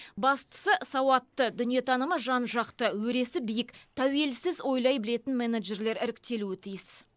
бастысы сауатты дүниетанымы жан жақты өресі биік тәуелсіз ойлай білетін менеджерлер іріктелуі тиіс